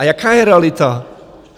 A jaká je realita?